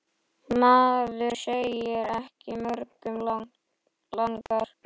Maður segir ekki mörgum langar.